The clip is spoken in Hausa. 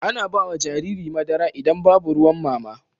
Ana bawa Jariri madara idan Babu ruwan mama